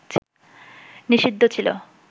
নিষিদ্ধ ছিল